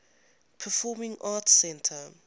performing arts center